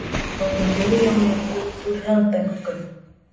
Tóku milljónir út úr hraðbönkum